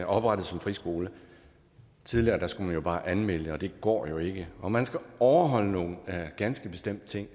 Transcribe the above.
oprettes som friskole tidligere skulle man bare anmelde det og det går jo ikke og man skal overholde nogle ganske bestemte ting